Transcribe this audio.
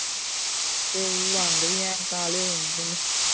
ਤੇ ਰੰਗ ਵੀ ਐ ਕਾਲੇ ਹੋ ਜਾਂਦੇ ਨੇ